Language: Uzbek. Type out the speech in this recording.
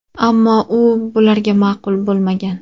Ammo u bularga ma’qul bo‘lmagan.